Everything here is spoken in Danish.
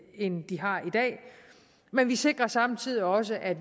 end de har i dag men vi sikrer samtidig også at